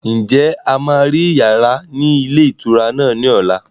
Ǹjẹ́ a máa rí yàrá ni ilé ìtura náà ni ọ̀la?